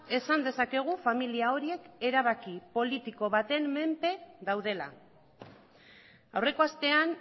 esan dezakegu familia horiek erabaki politiko baten menpe daudela aurreko astean